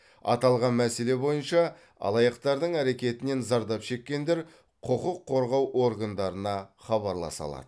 аталған мәселе бойынша алаяқтардың әрекетінен зардап шеккендер құқық қорғау органдарына хабарласа алады